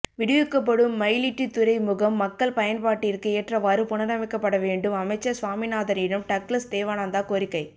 விடுவிக்கப்படும் மயிலிட்டி த்துறை முகம் மக்கள் பயன் பட்டிற்கு ஏற்றவாறு புனரமை க்கப்படவேண்டும் அமைச்சர் சுவாமிநாதனிடம் டக்ளஸ் தேவானந்தா கோரிக்கை